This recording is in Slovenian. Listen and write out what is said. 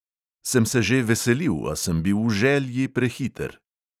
Sem se že veselil, a sem bil v želji prehiter.